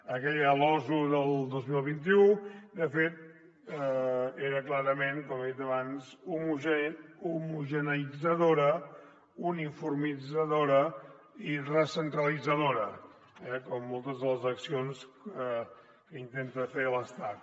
aquella losu del dos mil vint u de fet era clarament com he dit abans homogeneïtzadora uniformitzadora i recentralitzadora eh com moltes de les accions que intenta fer l’estat